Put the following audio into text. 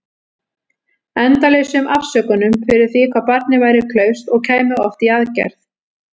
Endalausum afsökunum fyrir því hvað barnið væri klaufskt- og kæmi oft í aðgerð.